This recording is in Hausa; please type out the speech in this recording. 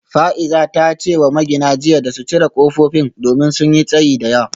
Fa’iza ta ce wa magina jiya da su cire kofofin domin sun yi tsayi da yawa